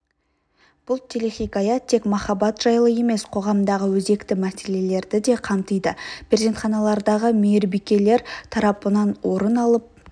бұл телехикая тек махаббат жайлы емес қоғамдағы өзекті мәселелерді де қамтиды перзентханалардағы мейірбикелер тарапынан орын алып